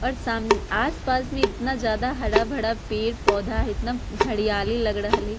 और साम आस-पास में इतना ज्यादा हरा-भरा पेड़-पौधा है एतना हरियाली लग रड़ल ही।